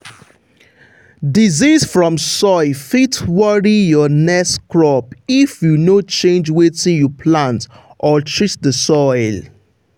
disease from soil fit worry your next crop if you no change wetin you plant or treat the soil.